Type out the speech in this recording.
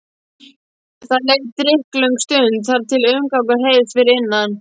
Það leið drykklöng stund þar til umgangur heyrðist fyrir innan.